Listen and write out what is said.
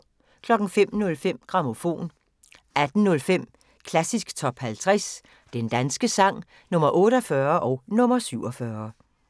05:05: Grammofon 18:05: Klassisk Top 50 Den danske sang – Nr. 48 og nr. 47